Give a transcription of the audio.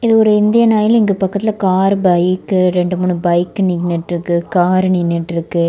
இது ஒரு Indian oil இதுக்கு பக்கத்துல கார் பைக் ரெண்டு மூணு பைக் நின்னுட்டு இருக்கு காரு நின்னுட்டு இருக்கு.